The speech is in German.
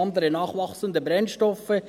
«andere nachwachsende Brennstoffe».